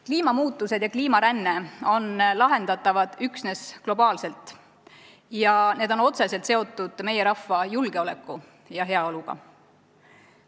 Kliimamuutused ja kliimaränne on lahendatavad üksnes globaalselt ning need on otseselt seotud meie rahva julgeoleku ja heaoluga.